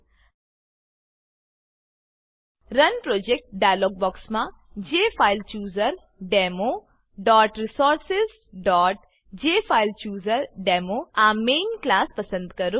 run project run project dialog બોક્સમાં jfilechooserdemoresourcesજેફાઇલચૂઝરડેમો આ મેઈન ક્લાસ પસંદ કરો